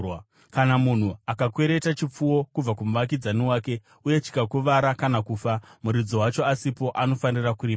“Kana munhu akakwereta chipfuwo kubva kumuvakidzani wake uye chikakuvara kana kufa, muridzi wacho asipo, anofanira kuripa.